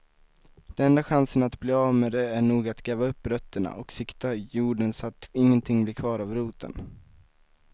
Den enda chansen att bli av med det är nog att gräva upp rötterna och sikta jorden så att ingenting blir kvar av roten.